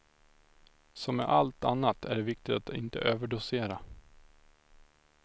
Som med allt annat är det viktigt att inte överdosera.